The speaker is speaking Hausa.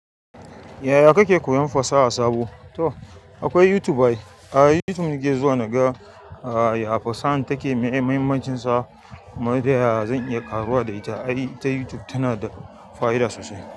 Yaya kake koyan fasaha sabo? To akwai YouTube ai. A youtube nake zuwa naga ya fasahan take meye mahimmancin sa kuma da ya ya zan iya ƙaruwa da ita. Ai ta YouTube tana da fa'ida sosai.